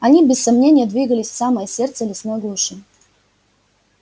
они без сомнения двигались в самое сердце лесной глуши